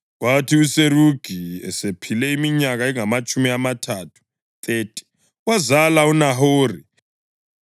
Kwathi uSerugi esephile iminyaka engamatshumi amathathu (30), wazala uNahori.